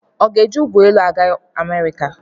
Ọ ga-eji ụgbọelu aga Amerịka?